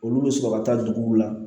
Olu bɛ sɔrɔ ka taa duguw la